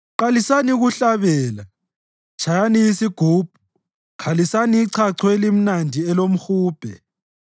Qalisani ukuhlabela, tshayani isigubhu, khalisani ichacho elimnandi lomhubhe.